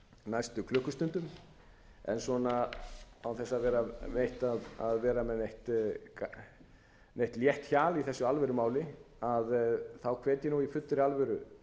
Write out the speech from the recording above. klukkustundum en svona án þess að vera með neitt létt hjal í þessu alvörumáli hvet ég nú í fullri alvöru